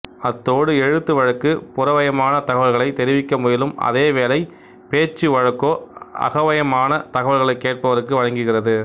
அத்தோடு எழுத்து வழக்கு புறவயமான தகவல்களைத் தெரிவிக்க முயலும் அதை வேளை பேச்சு வழக்கோ அகவயமான தகவல்களைக் கேட்பவருக்கு வழங்குகிறது